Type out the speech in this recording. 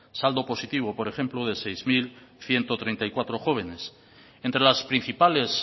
saldo positivo por ejemplo de seis mil ciento treinta y cuatro jóvenes entre las principales